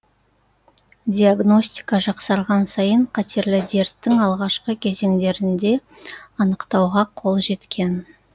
диагностика жақсарған сайын қатерлі дерттің алғашқы кезеңдерінде анықтауға қол жеткен